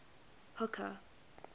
hooker